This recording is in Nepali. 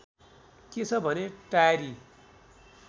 के छ भने टाएरी